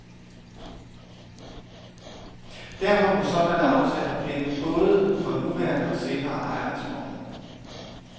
Derfor må sådanne aftaler binde både for nuværende og senere ejere af skoven.